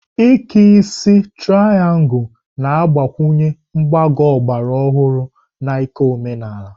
Ike isi triangu na-agbakwunye mgbagọ ọgbara ọhụrụ na ịke omenala.